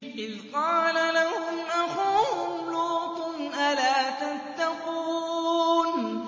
إِذْ قَالَ لَهُمْ أَخُوهُمْ لُوطٌ أَلَا تَتَّقُونَ